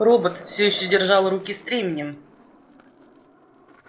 робот всё ещё держал руки стременем